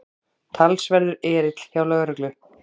Talsverður erill hjá lögreglu